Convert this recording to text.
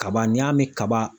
Kaba n'i y'a mɛn kaba